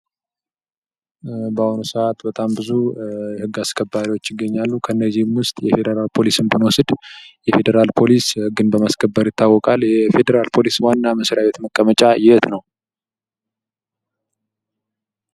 በአሁኑ ሰአት በጣም ብዙ ህግ አስከባሪዎች ዪገኛሉ ከነዚህም ዉስጥ የፌድራል ፖሊስን ብንወስድ የፌድራል ፖሊስ ህግን በማስከበር ይታወቃል። ይህ የፌድራል ፖሊስ ዋና መስሪያ ቤት መቀመጫ የት ነው?